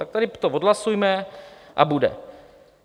Tak to tady odhlasujme a bude.